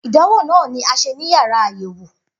Idanwo naa ni a ṣe ni yàrá ayẹwo.